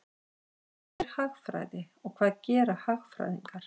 Hvað er hagfræði og hvað gera hagfræðingar?